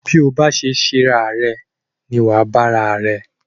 Bí a bá ṣe ṣera rẹ ni wà á bá ara rẹ.